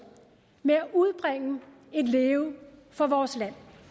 med at udbringe et leve for vores